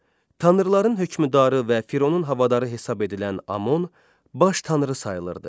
Tanrıların hökümdarı və Fironun havadarı hesab edilən Amon baş tanrı sayılırdı.